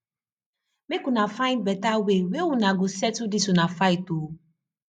make una find beta way wey una go settle dis una fight o